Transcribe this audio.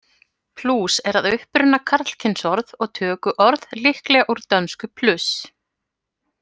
Plús er að uppruna karlkynsorð og tökuorð líklega úr dönsku plus.